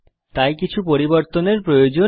তাই কিছু পরিবর্তন করার প্রয়োজন নেই